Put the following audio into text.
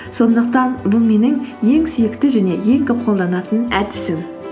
сондықтан бұл менің ең сүйікті және ең көп қолданатын әдісім